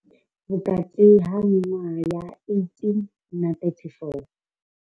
Vhukati ha miṅwaha ya 18 na 34.